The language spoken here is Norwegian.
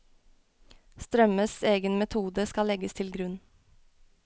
Strømmes egen metode skal legges til grunn.